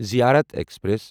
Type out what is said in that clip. زیارت ایکسپریس